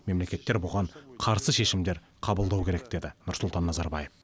мемлекеттер бұған қарсы шешімдер қабылдау керек деді нұрсұлтан назарбаев